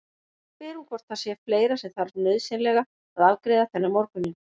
Nú spyr hún hvort það sé fleira sem þarf nauðsynlega að afgreiða þennan morguninn.